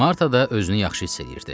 Marta da özünü yaxşı hiss eləyirdi.